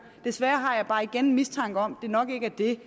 desværre har jeg bare igen mistanke om at det nok ikke er det